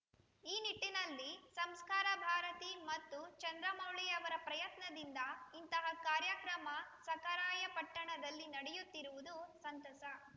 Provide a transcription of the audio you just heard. ಈ ನಿಟ್ಟಿನಲ್ಲಿ ಸಂಸ್ಕಾರ ಭಾರತಿ ಮತ್ತು ಚಂದ್ರಮೌಳಿಯವರ ಪ್ರಯತ್ನದಿಂದ ಇಂತಹ ಕಾರ್ಯಕ್ರಮ ಸಖರಾಯಪಟ್ಟಣದಲ್ಲಿ ನಡೆಯುತ್ತಿರುವುದು ಸಂತಸ